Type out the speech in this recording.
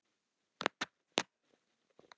Á flótta mig erindi þrýtur.